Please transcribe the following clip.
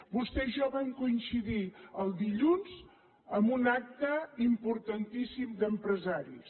vostè i jo vam coincidir el dilluns en un acte importantíssim d’empresaris